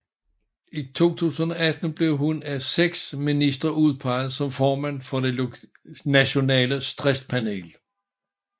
I 2018 blev hun af seks ministre udpeget som formand for Det Nationale Stresspanel